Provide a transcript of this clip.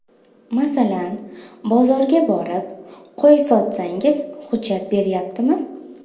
Masalan, bozorga borib, qo‘y sotsangiz, hujjat beryaptimi?